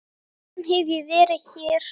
Síðan hef ég verið hér.